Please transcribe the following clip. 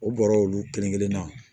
U bɔra olu kelen kelen na